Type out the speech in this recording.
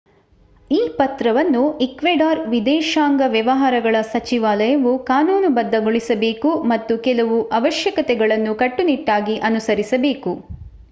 ಈ ಪತ್ರವನ್ನು ಈಕ್ವೆಡಾರ್ ವಿದೇಶಾಂಗ ವ್ಯವಹಾರಗಳ ಸಚಿವಾಲಯವು ಕಾನೂನುಬದ್ಧಗೊಳಿಸಬೇಕು ಮತ್ತು ಕೆಲವು ಅವಶ್ಯಕತೆಗಳನ್ನು ಕಟ್ಟುನಿಟ್ಟಾಗಿ ಅನುಸರಿಸಬೇಕು